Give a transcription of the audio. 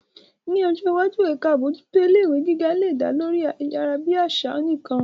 Ní ọjọ́ iwájú, ẹ̀ka àbójútó ilé ìwé àgbà lè dá lórí ayárabíàṣá nìkan.